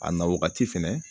A na wagati fɛnɛ